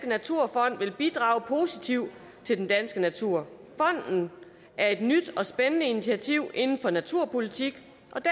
naturfond vil bidrage positivt til den danske natur fonden er et nyt og spændende initiativ inden for naturpolitik